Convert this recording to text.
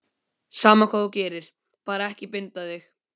Sama hvað þú gerir, bara ekki binda þig.